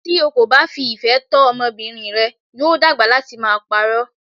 Tí o kò bá fi ìfẹ́ tọ́ ọmọbìnrin rẹ, yóò dàgbà láti máa pa'rọ́.